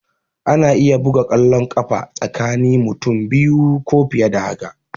Ana iya buga kwallon ƙafa tsakani mutum biyu ko fiye da haka